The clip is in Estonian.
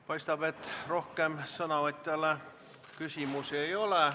Paistab, et rohkem ettekandjale küsimusi ei ole.